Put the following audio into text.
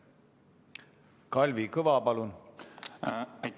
Kalvi Kõva, palun!